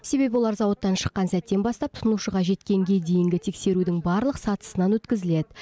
себебі олар зауыттан шыққан сәттен бастап тұтынушыға жеткенге дейінгі тексерудің барлық сатысынан өткізіледі